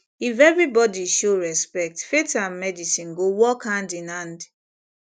if everybody show respect faith and medicine go work hand in hand